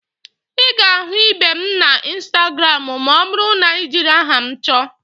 Ị ga-ahụ ibe m na instagramụ ma ọ bụrụ na ị jiri aha m chọọ